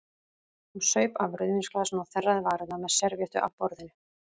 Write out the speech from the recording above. Hún saup af rauðvínsglasinu og þerraði varirnar með servíettu af borðinu.